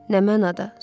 Nə mənada?